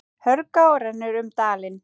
Hörgá rennur um dalinn.